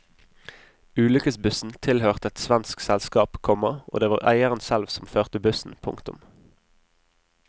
Ulykkesbussen tilhørte et svensk selskap, komma og det var eieren selv som førte bussen. punktum